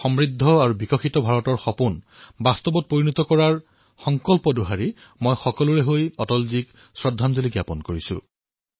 তেওঁৰ সমৃদ্ধ আৰু বিকশিত ভাৰতৰ সপোন পূৰণ কৰাৰ সংকল্প দোহাৰি মই সকলোৰে তৰফৰ পৰা অটলজীক শ্ৰদ্ধাঞ্জলি অৰ্পিত কৰিছোঁ